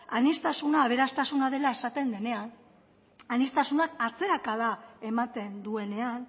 aniztasuna aberastasuna dela esaten denean aniztasuna atzerakada ematen duenean